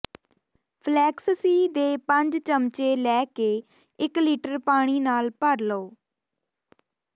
ਫਲੈਕਸਸੀ ਦੇ ਪੰਜ ਚਮਚੇ ਲੈ ਕੇ ਇੱਕ ਲੀਟਰ ਪਾਣੀ ਨਾਲ ਭਰ ਦਿਓ